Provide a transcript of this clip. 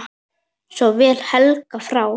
Svo féll Helgi frá.